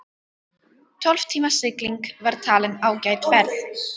Tólf tíma sigling var talin ágæt ferð.